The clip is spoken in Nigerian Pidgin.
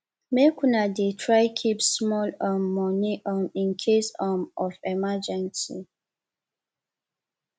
make una dey try keep small um moni um in case um of emergency